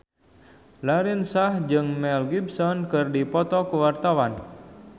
Raline Shah jeung Mel Gibson keur dipoto ku wartawan